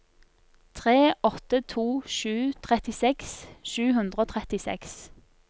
tre åtte to sju trettiseks sju hundre og trettiseks